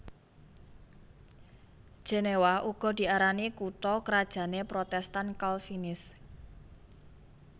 Jenéwa uga diarani kutha krajané Protèstan Kalvinis